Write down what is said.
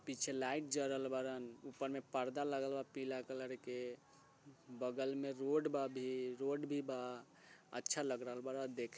पीछे लाइट जड़ल बाड़न ऊपर में पर्दा लगलवा पीला कलर के बगल में रोड बाबे रोड भी बा अच्छा लग रहल बड़ा देख --